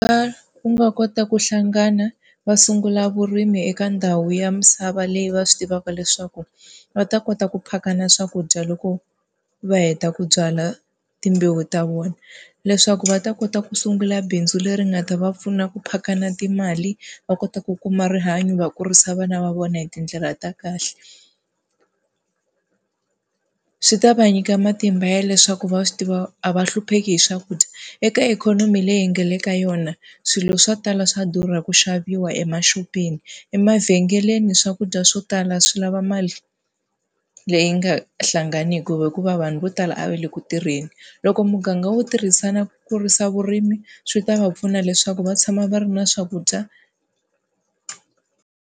Ku nga kota ku hlangana va sungula vurimi eka ndhawu ya misava leyi va swi tivaka leswaku va ta kota ku phakana swakudya loko va heta ku byala timbewu ta vona. Leswaku va ta kota ku sungula bindzu leri nga ta va pfuna ku phakana timali, va kota ku kuma rihanyo va kurisa vana va vona hi tindlela ta kahle. Swi ta va nyika matimba ya leswaku va swi tiva a va hlupheki hi swakudya. Eka ikhonomi leyi hi nga le ka yona swilo swo tala swa durha ku xaviwa emaxopeni, emavhengeleni swakudya swo tala swi lava mali leyi nga hlanganiki hikuva vanhu vo tala a va le ku tirheni. Loko muganga wo tirhisana ku kurisa vurimi, swi ta va pfuna leswaku va tshama va ri na swakudya.